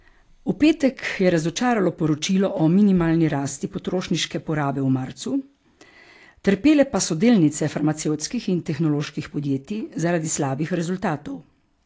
V petek je razočaralo poročilo o minimalni rasti potrošniške porabe v marcu, trpele pa so delnice farmacevtskih in tehnoloških podjetij zaradi slabih rezultatov.